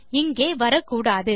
இங்கே வரக்கூடாது